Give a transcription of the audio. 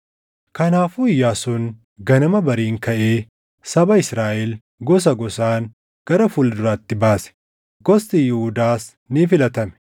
Kanaafuu Iyyaasuun ganama bariin kaʼee saba Israaʼel gosa gosaan gara fuula duraatti baase; gosti Yihuudaas ni filatame.